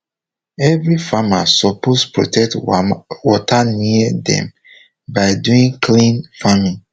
every farmer suppose protect water near dem by doing clean farming